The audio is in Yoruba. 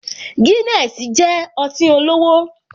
Guinness jẹ́ ọtí olówó